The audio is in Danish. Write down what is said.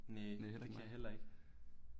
Næ det kan jeg heller ikke